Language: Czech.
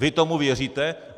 Vy tomu věříte?